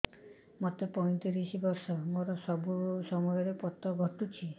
ମୋତେ ପଇଂତିରିଶ ବର୍ଷ ମୋର ସବୁ ସମୟରେ ପତ ଘଟୁଛି